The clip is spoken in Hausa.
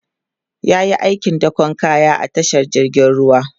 yayi aikin dakon kaya a tashar jirgin ruwa